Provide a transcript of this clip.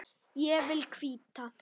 Ég vil hvíta.